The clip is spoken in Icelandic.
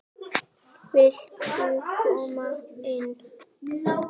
Viltu koma inn?